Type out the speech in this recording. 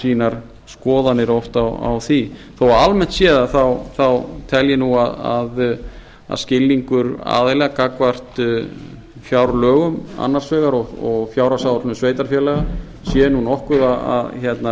sínar skoðanir oft á því þó almennt séð þá tel ég nú að skilningur aðila gagnvart fjárlögum annars vegar og fjárhagsáætlun sveitarfélaga sé nú nokkuð að